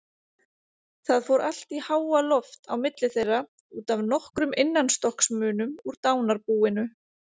Það fór allt í háaloft á milli þeirra út af nokkrum innanstokksmunum úr dánarbúinu.